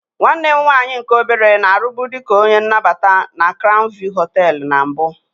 Nwanne m nwaanyị nke obere na-arụbu dị ka onye nnabata na crown view hoteelu na mbụ.